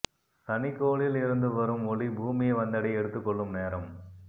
சனிக்கோளில் இருந்து வரும் ஒளி பூமியை வந்தடைய எடுத்துக் கொள்ளும் நேரம்